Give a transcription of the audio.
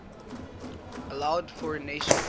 allowed foreign nations